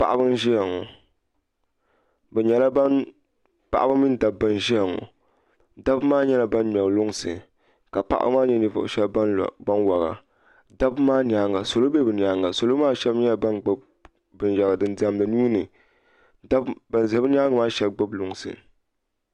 Paɣaba mini dabba n ʒiya ŋo dabba maa nyɛla ban ŋmɛri lunsi ka paɣaba maa nyɛ ninvuɣu shab ban wora dabba maa nyaanga salo bɛ bi nyaanga salo maa shab nyɛla ban gbubi binyɛra din diɛmdi nuuni bin ʒɛ bi nyaangi maa shab gbubi lunsi